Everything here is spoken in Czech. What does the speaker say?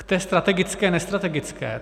K té strategické, nestrategické.